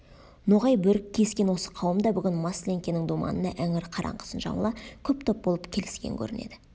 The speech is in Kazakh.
ноғай бөрік киіскен осы қауым да бүгін масленкенің думанына іңір қараңғысын жамыла көп топ болып келіскен көрінеді